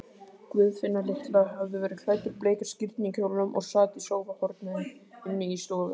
Guðfinna litla hafði verið klædd úr bleika skírnarkjólnum og sat í sófahorni inni í stofu.